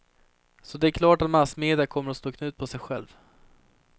Så det är klart att massmedia kommer att slå knut på sig själv.